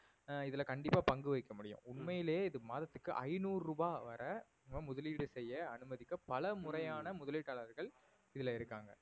ஆஹ் இதுல கண்டிப்பா பங்கு வைக்க முடியும் உண்மையிலே இது மாதத்துக்கு ஐநூறு ரூபாய் வரை முதலீடு செய்ய அனுமதிக்க பல முறையான முதலீட்டாளர்கள் இதுல இருக்காங்க